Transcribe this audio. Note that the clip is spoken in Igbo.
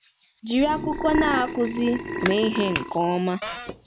Jiri akwụkwọ Na-akụzi mee ihe nke ọma.